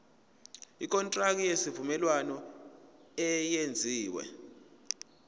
ikontraki yesivumelwano eyenziwe